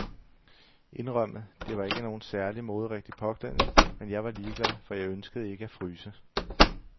Indrømmet, det var ikke nogen særlig moderigtig påklædning, men jeg var ligeglad, for jeg ønskede ikke at fryse.